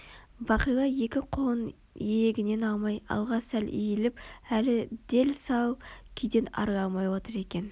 бағила екі қолын иегінен алмай алға сәл иіліп әлі дел-сал күйден арыла алмай отыр екен